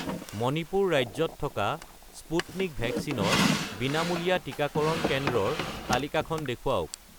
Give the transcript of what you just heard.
মণিপুৰ ৰাজ্যত থকা স্পুটনিক ভেকচিনৰ বিনামূলীয়া টিকাকৰণ কেন্দ্ৰৰ তালিকাখন দেখুৱাওক।